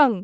कं।